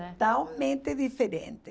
Né diferente.